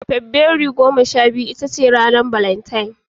Fabrairu goma sha huɗu ita ce ranar Valantine